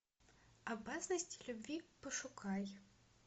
опасность любви пошукай